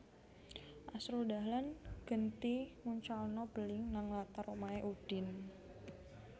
Asrul Dahlan genti nguncalno beling nang latar omahe Udin